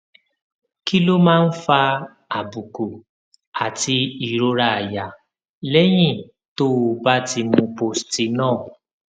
kí ló máa ń fa àbùkù àti ìrora àyà lẹyìn tó o bá ti mu postinor